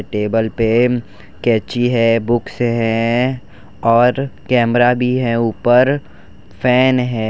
Table पे कैंची है बुक्स है और कैमरा भी है ऊपर फैन है।